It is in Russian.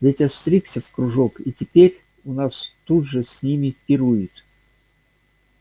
ведь остригся в кружок и теперь у нас тут же с ними пирует